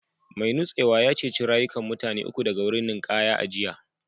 Mai nutsewa ya ceci rayukan mutane uku daga wurin ninkaya a jiya